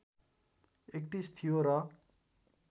३१ थियो र